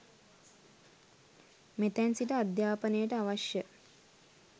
මෙතැන් සිට අධ්‍යාපනයට අවශ්‍ය